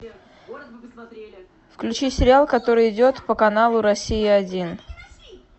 включи сериал который идет по каналу россия один